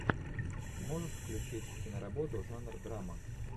можешь включить киноработу жанр драма